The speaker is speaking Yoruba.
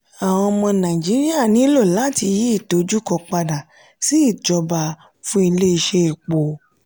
àwọn ọmọ naijiria nílò láti yí ìdojúkọ pada si ìjọba fún ilé iṣẹ́ epo.